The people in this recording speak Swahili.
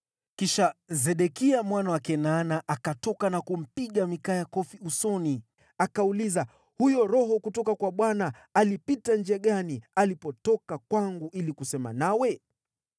Kisha Sedekia mwana wa Kenaana akatoka na kumpiga Mikaya kofi usoni. Akauliza, “Huyo Roho kutoka kwa Bwana alipita njia gani alipotoka kwangu ili kusema nawe?”